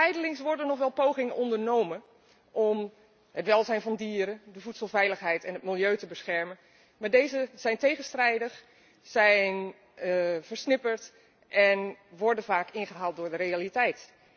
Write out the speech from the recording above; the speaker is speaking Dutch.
Zijdelings worden nog wel pogingen ondernomen om het welzijn van dieren, de voedselveiligheid en het milieu te beschermen, maar deze maatregelen zijn tegenstrijdig, ze zijn versnipperd en worden vaak ingehaald door de realiteit.